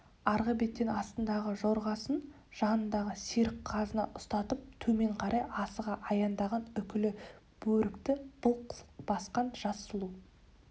арғы беттен астындағы жорғасын жанындағы серік қызына ұстатып төмен қарай асыға аяңдаған үкілі бөрікті былқ-сылқ басқан жас сұлу